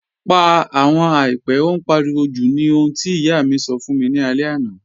Pà àwọn àìpẹ̀, ó n páriwò jú̀ ní òhun tí iyà mi sọ́ fún mi ni àlẹ̀ àná